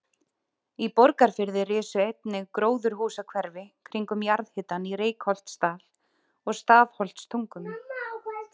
Í Borgarfirði risu einnig gróðurhúsahverfi kringum jarðhitann í Reykholtsdal og Stafholtstungum.